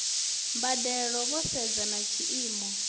mbadelo vho sedza na tshiimo